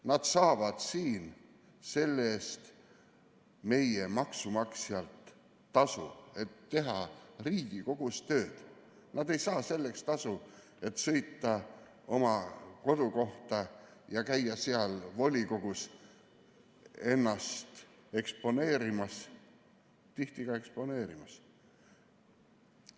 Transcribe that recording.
Nad saavad siin selle eest maksumaksjalt tasu, et teha Riigikogus tööd, nad ei saa siin tasu selle eest, et sõita oma kodukohta ja käia seal volikogus ennast eksponeerimas, tihti just eksponeerimas.